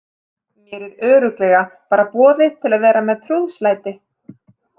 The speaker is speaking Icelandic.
Mér er örugglega bara boðið til að vera með trúðslæti.